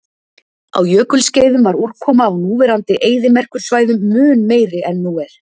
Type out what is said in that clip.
Á jökulskeiðum var úrkoma á núverandi eyðimerkursvæðum mun meiri en nú er.